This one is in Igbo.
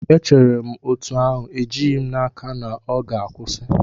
Echere m otú ahụ, ejighị m n'aka na ọ ga-akwụsị.